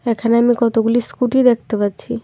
এখানে আমি কতগুলি স্কুটি দেখতে পাচ্ছি।